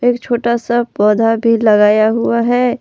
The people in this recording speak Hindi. एक छोटा सा पौधा भी लगाया हुआ है।